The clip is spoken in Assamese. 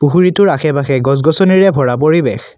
পুখুৰীটোৰ আশে পাশে গছ গছনিৰে ভৰা পৰিৱেশ।